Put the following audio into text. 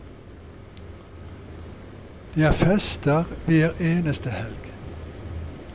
Det er fester hver eneste helg.